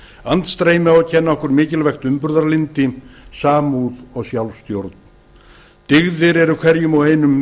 andstreymi á að kenna okkur mikilvægt umburðarlyndi samúð og sjálfstjórn dyggðir sem eru hverjum og einum